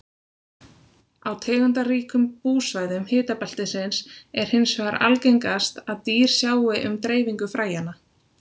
Á tegundaríkum búsvæðum hitabeltisins er hins vegar algengast að dýr sjái um dreifingu fræjanna.